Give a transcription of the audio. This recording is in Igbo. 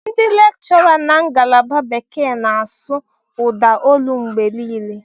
Ndị nkuzi na ngalaba bekee ga na-asụ ụda olu mgbe niile.